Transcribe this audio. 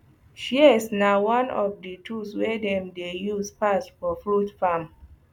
shears na one of the tools wey dem dey use pass for fruit farm